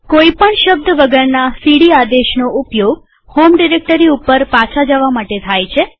કોઈ પણ શબ્દ વગરના સીડી આદેશનો ઉપયોગ હોમ ડિરેક્ટરી ઉપર પાછા જવા માટે થાય છે